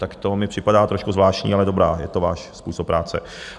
Tak to mi připadá trošku zvláštní, ale dobrá, je to váš způsob práce.